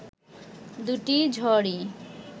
দুটি ঝড়ই